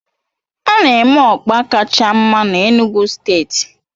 A na-eme ọkpa kacha mma na Enugu steeti